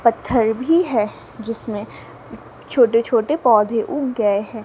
पत्थर भी है जिसमें छोटे छोटे पौधे उग गए हैं।